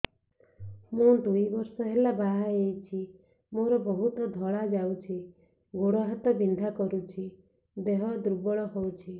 ମୁ ଦୁଇ ବର୍ଷ ହେଲା ବାହା ହେଇଛି ମୋର ବହୁତ ଧଳା ଯାଉଛି ଗୋଡ଼ ହାତ ବିନ୍ଧା କରୁଛି ଦେହ ଦୁର୍ବଳ ହଉଛି